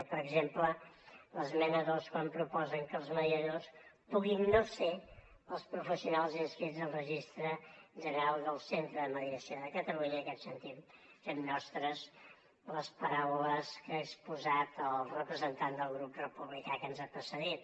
o per exemple l’esmena dos quan proposen que els mediadors puguin no ser els professionals inscrits al registre general del centre de mediació de catalunya en aquest sentit fem nostres les paraules que ha exposat el representant del grup republicà que ens ha precedit